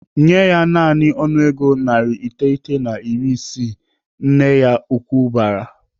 "Nyee ya naanị ọnụego narị iteghete na iri isii!" Nne ya ukwu bara.